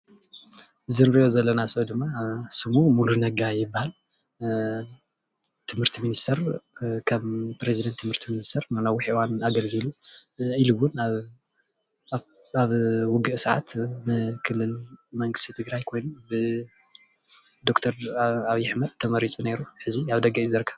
እዚ እንሪኦ ዘለና ሰብ ድማ ስሙ ሙሉ ነጋ ይበሃል ትምህርቲ ሚኒስተር ከም ፕረዚደንት ትምህርቲ ሚኒስተር ንነዊሕ እዋን አገልጊሉ ኢሉ እዉን አብ ውግእ ሰዓት ንክልል መንግስቲ ትግራይ ኮይኑ ብዶክተር አብዪ አሕመድ ተመሪፁ ኔሩ ሕዚ አብ ደገ እዩ ዝርከብ።